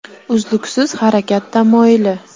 Uzluksiz harakat tamoyili.